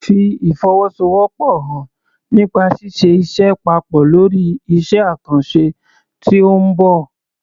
Fi ìfọwọ́sowọ́pọ̀ hàn nípa ṣíṣe iṣẹ́ papọ̀ lórí iṣẹ́ àkànṣe tí ó ń bọ̀.